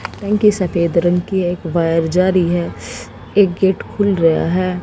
कहीं कहीं सफेद रंग की एक वायर जा रही है एक गेट खुल रया है।